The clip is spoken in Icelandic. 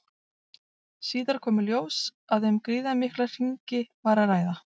Síðar kom í ljós að um gríðarmikla hringi var að ræða.